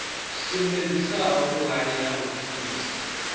sumbedzisaho vhuhali ha u phulusa